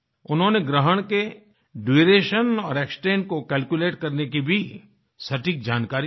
उन्होंने ग्रहण के ड्यूरेशन और एक्सटेंट को कैल्कुलेट करने की भी सटीक जानकारियाँ दी